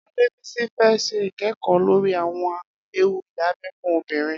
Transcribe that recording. Adebisi fè ṣé ikẹẹkọ lóri awọn éwú idábẹ̀ fún óbìrín